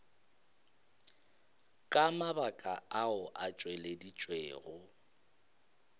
ka mabaka ao a tšweleditšwego